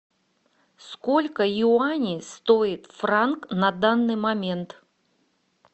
сколько юаней стоит франк на данный момент